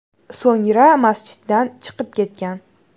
So‘ngra masjiddan chiqib ketgan.